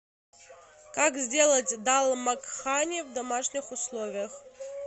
как сделать дал макхани в домашних условиях